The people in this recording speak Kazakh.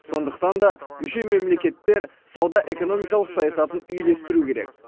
сондықтан да мүше мемлекеттер сауда экономикалық саясатын үйлестіру керек